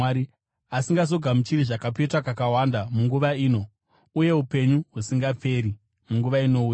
asingazogamuchiri zvakapetwa kakawanda munguva ino, uye upenyu husingaperi munguva inouya.”